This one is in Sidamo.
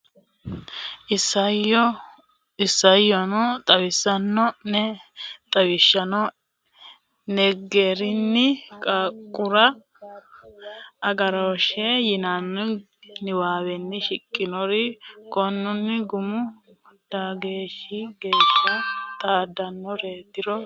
iisaanchi o ne xawisanno ne xawissanno ne garinni Qarqaru Agarooshshe yitanno niwaawe shiqqinori korunna gumu mageeshshi geeshsha xaaddannoreetiro seekkitine keenne.